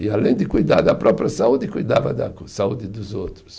E além de cuidar da própria saúde, cuidava da saúde dos outros.